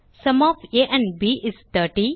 sum of a and b is 30